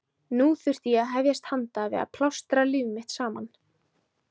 Nú þurfti ég að hefjast handa við að plástra líf mitt saman.